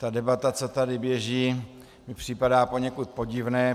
Ta debata, co tady běží, mi připadá poněkud podivná.